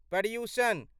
Paryushan